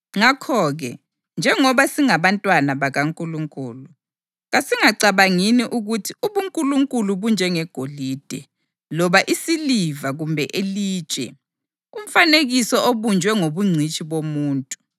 Ngakho-ke njengoba singabantwana bakaNkulunkulu, kasingacabangini ukuthi ubuNkulunkulu bunjengegolide, loba isiliva kumbe ilitshe; umfanekiso obunjwe ngobungcitshi bomuntu.